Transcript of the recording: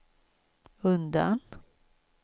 undan